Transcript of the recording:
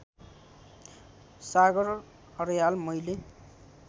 सागर अर्याल मैले